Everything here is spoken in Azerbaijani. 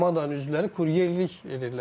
Milli komandanın üzvləri kuryerlik edirdilər.